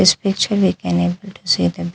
This picture we can able to see the --